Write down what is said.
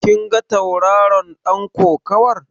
Kin ga tauraron ɗan kokawar?